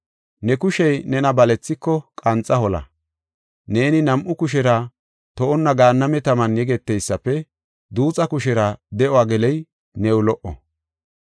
Ne kushey nena balethiko, qanxa hola. Neeni nam7u kushera to7onna gaanname taman yegeteysafe, duuxa kushera de7uwa geloy new lo77o.